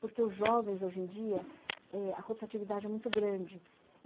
Porque os jovens, hoje em dia eh a rotatividade é muito grande.